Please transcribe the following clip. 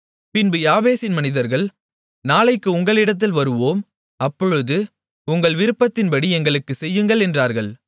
பின்பு யாபேசின் மனிதர்கள் நாளைக்கு உங்களிடத்தில் வருவோம் அப்பொழுது உங்கள் விருப்பத்தின்படி எங்களுக்குச் செய்யுங்கள் என்றார்கள்